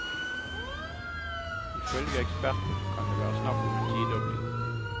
Ifølge eksperten kan det være snakk om en tidobling.